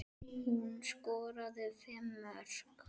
Hún skoraði fimm mörk.